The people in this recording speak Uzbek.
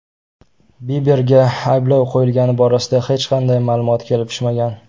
Biberga ayblov qo‘yilgani borasida hech qanday ma’lumot kelib tushmagan.